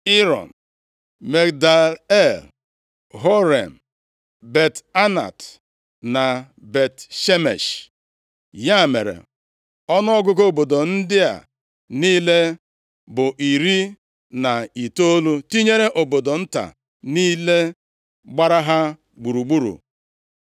Iron, + 19:38 Maọbụ, Yiron Migdal El, Horem, Bet-Anat na Bet-Shemesh. Ya mere, ọnụọgụgụ obodo ndị a niile bụ iri na itoolu, tinyere obodo nta niile gbara ha gburugburu.